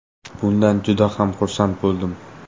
Bundan juda ham xursand bo‘ldim.